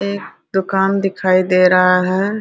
एक दुकान दिखाई दे रहा है।